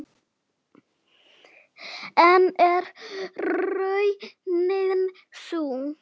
En er raunin sú?